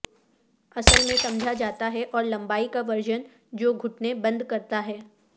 اصل میں سمجھا جاتا ہے اور لمبائی کا ورژن جو گھٹنے بند کرتا ہے